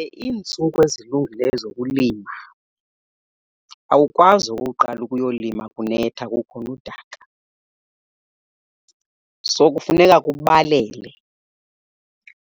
Iintsuku ezilungileyo zokulima, awukwazi okokuqala ukuyolima kunetha kukhona udaka. So, kufuneka kubalele